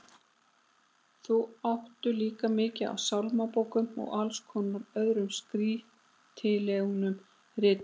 Þau áttu líka mikið af sálmabókum og alls konar öðrum kristilegum ritum.